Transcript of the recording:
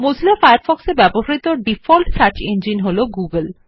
Mozilla Firefox এ ব্যবহৃত default search engine হলো Google